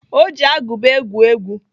Ọ ji agụba egwu egwu.